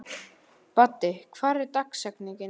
Baddi, hver er dagsetningin í dag?